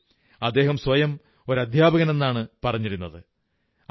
പക്ഷേ അദ്ദേഹം സ്വയം ഒരു അധ്യാപകനെന്നാണ് പറഞ്ഞിരുന്നത്